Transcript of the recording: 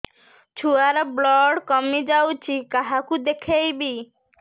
ଛୁଆ ର ବ୍ଲଡ଼ କମି ଯାଉଛି କାହାକୁ ଦେଖେଇବି